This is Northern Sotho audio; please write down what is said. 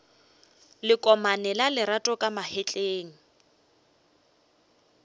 lekomane la lerato ka magetleng